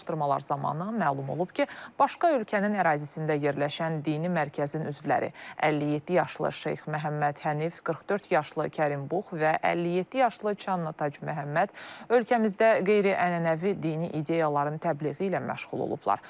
Araşdırmalar zamanı məlum olub ki, başqa ölkənin ərazisində yerləşən dini mərkəzin üzvləri 57 yaşlı Şeyx Məhəmməd Hənif, 44 yaşlı Kərim Bux və 57 yaşlı Çanna Tac Məhəmməd ölkəmizdə qeyri-ənənəvi dini ideyaların təbliği ilə məşğul olublar.